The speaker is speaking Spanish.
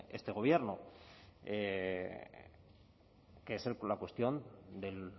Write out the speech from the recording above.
este gobierno que es la cuestión del